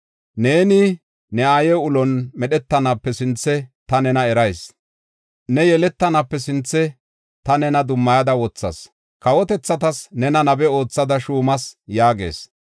“Neeni ne aaye ulon medhetanaape sinthe ta nena erayis. Ne yeletanaape sinthe ta nena dummayada wothas; kawotethatas nena nabe oothada shuumas” yaagis.